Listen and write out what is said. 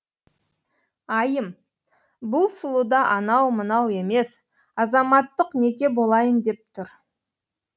айым бұл сұлуда анау мынау емес азаматтық неке болайын деп тұр